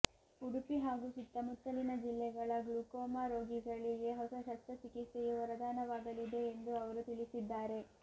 ಉಡುಪಿ ಹಾಗೂ ಸುತ್ತಮುತ್ತಲಿನ ಜಿಲ್ಲೆಗಳ ಗ್ಲುಕೋಮಾ ರೋಗಿಗಳಿಗೆ ಹೊಸ ಶಸ್ತ್ರಚಿಕಿತ್ಸೆಯು ವರದಾನವಾಗಲಿದೆ ಎಂದು ಅವರು ತಿಳಿಸಿದ್ದಾರೆ